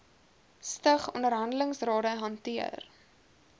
stig onderhandelingsrade hanteer